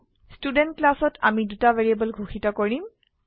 student ক্লাসত আমি দুটা ভ্যাৰিয়েবল ঘোষিত কৰিম